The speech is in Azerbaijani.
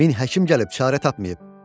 Min həkim gəlib çarə tapmayıb.